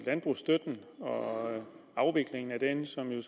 landbrugsstøtten og afviklingen af den som jo